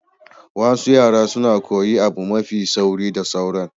Wasu yara suna koyi abu mafi sauri da sauran.